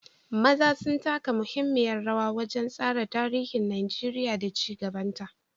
maza sun taka muhimmiyar rawa wajen tsara tarihin Najeriya da ci gabanta.